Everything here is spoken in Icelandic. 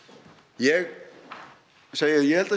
ég segi það ég held að